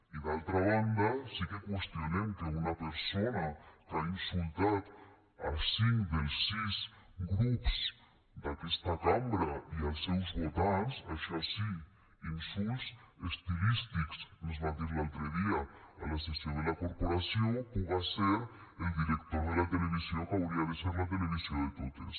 i d’altra banda sí que qüestionem que una persona que ha insultat cinc dels sis grups d’aquesta cambra i els seus votants això sí insults estilístics ens va dir l’altre dia a la sessió de la corporació puga ser el director de la televisió que hauria de ser la televisió de totes